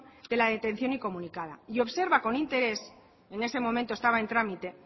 de la detención incomunicada y observa con interés en ese momento estaba en trámite